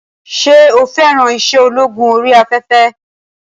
Ṣé o fẹ́ràn iṣẹ́ ológun orí afẹ́fẹ́?